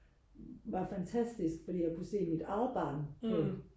var fantastisk fordi jeg kunne se mit eget barn på